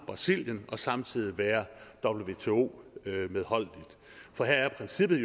brasilien og samtidig være wto medholdeligt for her er princippet